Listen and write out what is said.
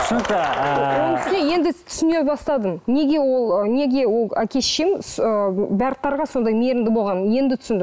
түсінікті ыыы оның үстіне енді түсіне бастадым неге ол ы неге ол әке шешем ы барлықтарға сондай мейірімді болғанын енді түсіндім